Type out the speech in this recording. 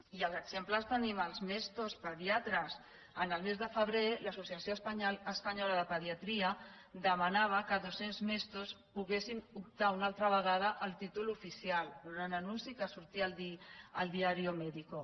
i els exemples els tenim als mesto pediatres el mes de febrer l’associació espanyola de pediatria demanava que dos·cents mesto poguessin optar una altra vegada al títol oficial era un anunci que sortia al diario médico